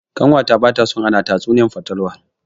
Ƙanwata bata so ana tatsuniyar fatalwa.